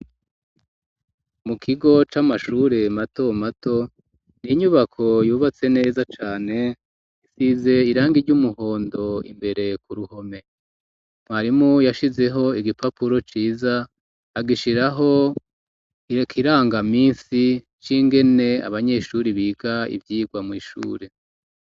Mukigo c'amashure mato mato ni inyubako yubatse neza cane isize irangi ry'umuhondo imbere ku ruhome mwarimu yashizeho igipapuro ciza agishiraho ikirangaminsi c'ingene abanyeshure biga ivyigwa mw'ishure.